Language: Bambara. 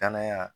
Danaya